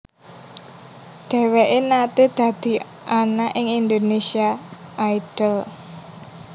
Dheweke nate dadi ana ing Indonesia Idol